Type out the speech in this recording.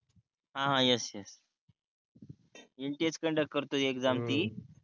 हा हा yes yes NTA conduct करतो एक्साम ती